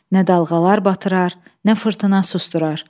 Nə dalğalar batırar, nə fırtına susdurar.